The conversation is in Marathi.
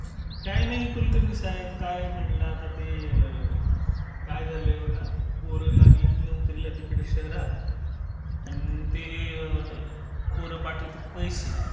काही नाही कुलकर्णी साहेब. काय म्हणलं आता ते. काय झालंय बघा. पोरं लागलेत नोकरीला तिकडे शहरात आणि ते पोरं पाठवतेत पैशे.